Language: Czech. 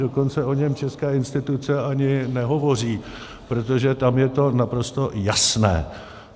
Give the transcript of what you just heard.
Dokonce o něm české instituce ani nehovoří, protože tam je to naprosto jasné.